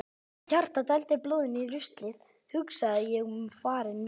Meðan hjartað dældi blóðinu í ruslið hugsaði ég um farinn veg.